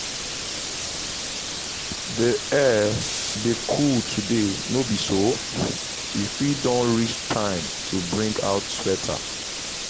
the air dey cool today no be so? e fit don reach time to bring out sweater